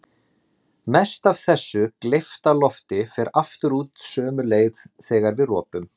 Mest af þessu gleypta lofti fer aftur út sömu leið þegar við ropum.